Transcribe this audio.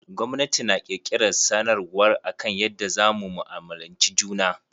Gwamnati na kirkiran sanarwar akan yadda za mu mu'amulci juna.